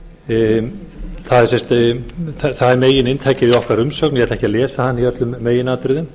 það er meginainntakið í okkar umsögn ég ætla ekki að lesa hana í öllum meginatriðum